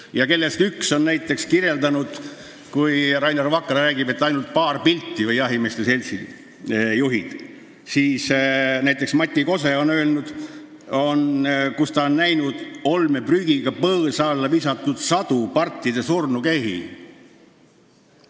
Rainer Vakra ja jahimeeste seltsi juhid räägivad, et on olnud ainult paar pilti, aga näiteks ornitoloog Mati Kose on öelnud, et ta on näinud koos olmeprügiga põõsa alla visatud sadu partide surnukehi.